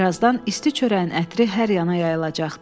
Bir azdan isti çörəyin ətri hər yana yayılacaqdı.